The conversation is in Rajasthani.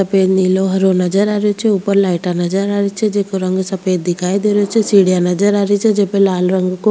सफ़ेद नीला हरो नजर आरो छ ऊपर लाइटा नजर आ रहे छे जेको रंग सफ़ेद दिखाई दे रो छे सीढिया नजर आरी छ जेप लाल रंग को --